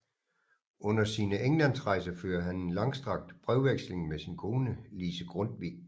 Under sine Englandsrejser fører han en langstrakt brevveksling med sin kone Lise Grundtvig